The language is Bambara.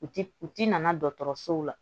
U ti u ti nana dɔgɔtɔrɔsow la